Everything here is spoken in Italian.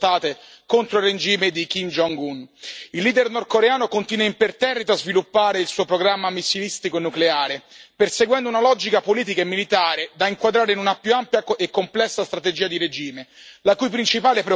Il leader nordcoreano continua imperterrito a sviluppare il suo programma missilistico e nucleare, perseguendo una logica politica e militare da inquadrare in una più ampia e complessa strategia di regime, la cui principale preoccupazione è da sempre la sua stessa sopravvivenza.